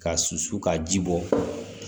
Ka susu ka ji bɔ